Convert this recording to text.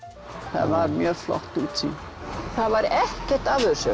það var mjög flott útsýni það var ekkert af þessu